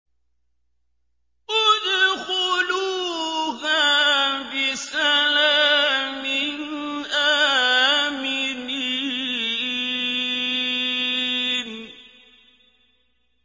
ادْخُلُوهَا بِسَلَامٍ آمِنِينَ